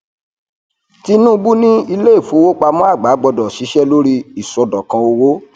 tinubu ní iléìfowópamọ àgbà gbọdọ ṣiṣẹ lórí iṣọdọkan owó